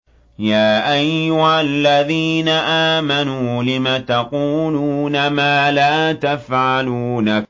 يَا أَيُّهَا الَّذِينَ آمَنُوا لِمَ تَقُولُونَ مَا لَا تَفْعَلُونَ